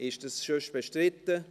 Ist das bestritten?